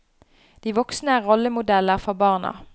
De voksne er rollemodeller for barna.